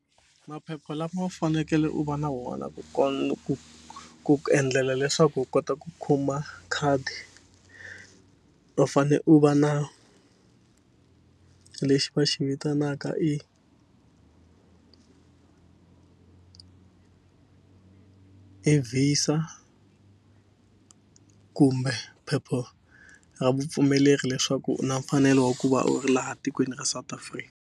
Maphepha lama u fanekele u va na wona ku ku endlela leswaku u kota ku kuma khadi u fane u va na lexi va xi vitanaka i i VISA kumbe phepha ra vupfumeleri leswaku u na mfanelo wa ku va u ri laha tikweni ra South Africa.